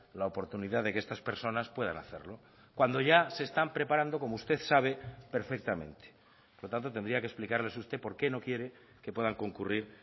la oportunidad de que estas personas puedan hacerlo cuando ya se están preparando como usted sabe perfectamente por lo tanto tendría que explicarles usted porque no quiere que puedan concurrir